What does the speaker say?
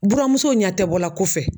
Buramuso ɲɛ tɛ bɔla kɔfɛ.